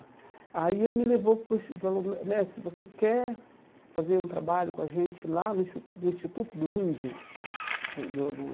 Aí ele me levou para o Ins e falou, mestre, você quer fazer um trabalho com a gente lá no Ins no Instituto do Índio do